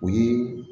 O ye